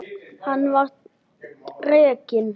Hann var rekinn.